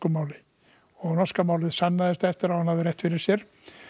máli og norska málið sannaðist eftir á að hann hafði rétt fyrir sér